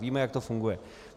Víme, jak to funguje.